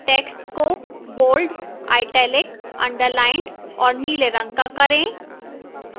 text को bold italic underlined और नीले रंग का करें